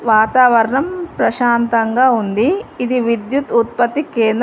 వాతావరణం ప్రశాంతంగా ఉంది ఇది విద్యుత్ ఉత్పత్తి కేంద్ర--